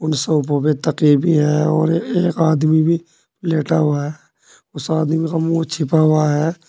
उन सोफों पे तकिए भी है और एक आदमी भी लेटा हुआ उस आदमी का मुंह छिपा हुआ है।